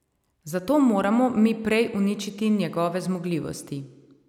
Zato moramo mi prej uničiti njegove zmogljivosti.